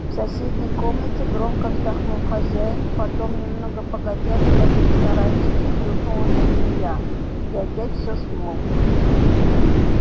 в соседней комнате громко вздохнул хозяин потом немного погодя в своём сарайчике хрюкнула свинья и опять все смолкло